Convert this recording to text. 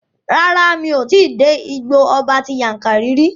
Rárá, mi ò tí dé Igbó ọba ti Yankari rí.